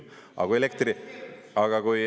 Aga kui elektri …